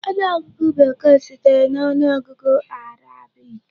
Ọnụọgụgụ Bekee sitere na ọnụọgụ Arabic.